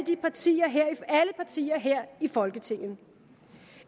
partier her i folketinget